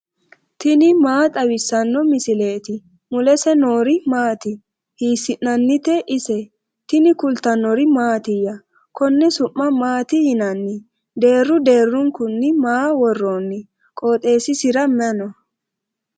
tini maa xawissanno misileeti ? mulese noori maati ? hiissinannite ise ? tini kultannori mattiya? Konne su'ma maatti yinnanni? deeru deerunkunni maa woroonni? qoxeessisira may noo?